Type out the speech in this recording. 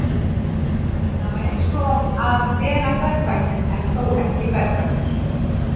Það var eins og að vera berfættur en þó ekki berfættur.